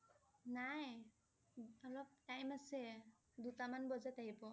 নাই অলপ time আছে, দুটামান বজাত আহিব